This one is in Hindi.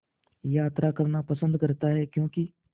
यात्रा करना पसंद करता है क्यों कि